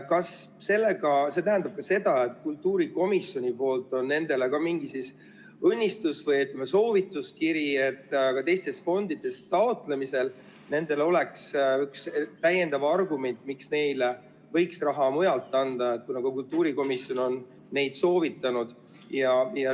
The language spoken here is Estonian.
Kas see tähendab ka seda, et kultuurikomisjon on neile andnud mingi õnnistuse või soovituskirja, et ka teistest fondidest taotlemisel neil oleks üks täiendav argument, miks neile võiks raha mujalt anda, kuna kultuurikomisjon on neid soovitanud?